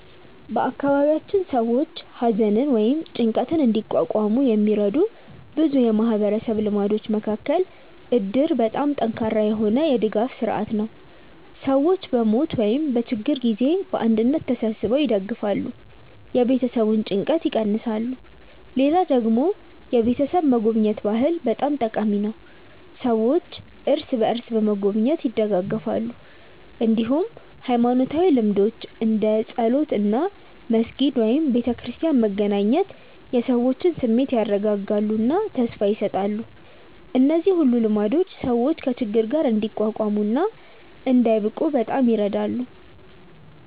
በአካባቢያችን ሰዎች ሐዘንን ወይም ጭንቀትን እንዲቋቋሙ የሚረዱ ብዙ የማህበረሰብ ልማዶች መካከል እድር በጣም ጠንካራ የሆነ የድጋፍ ስርዓት ነው፤ ሰዎች በሞት ወይም በችግር ጊዜ በአንድነት ተሰብስበው ይደግፋሉ፣ የቤተሰቡን ጭንቀት ይቀንሳሉ። ሌላ ደግሞ የቤተሰብ መጎብኘት ባህል በጣም ጠቃሚ ነው፤ ሰዎች እርስ በርስ በመጎብኘት ይደጋገፋሉ። እንዲሁም ሃይማኖታዊ ልምዶች እንደ ጸሎት እና መስጊድ/ቤተክርስቲያን መገናኘት የሰዎችን ስሜት ያረጋጋሉ እና ተስፋ ይሰጣሉ። እነዚህ ሁሉ ልማዶች ሰዎች ከችግር ጋር እንዲቋቋሙ እና እንዳይብቁ በጣም ይረዳሉ።